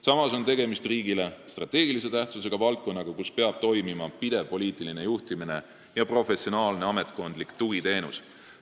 Samas on tegemist riigile strateegilise tähtsusega valdkonnaga, mis peab olema pidevalt poliitiliselt juhitud ja kus tuleb pakkuda professionaalset ametkondlikku tugiteenust.